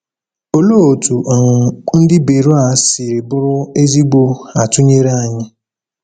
Òlee otú um ndị Beroea siri bụrụ ezigbo atụnyere anyị?